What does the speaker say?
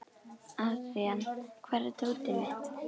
Adrian, hvar er dótið mitt?